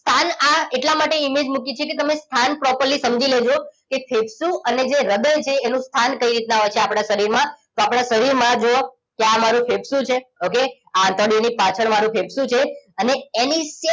હાલ આ એટલા માટે image મૂકી છે કે તમે સ્થાન properly સમજી લેજો કે ફેફસુ અને જે હૃદય છે એનું સ્થાન કઈ રીતના હોય છે આપણા શરીરમાં તો આપણા શરીરમાં જુઓ કે આ મારું ફેફસુ છે ઓકે આ આંતરડી ની પાછળ મારું ફેફસું છે અને એની